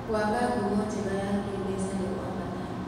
Gwaka ngumo njega ya kĩmbeca nĩ gwa bata.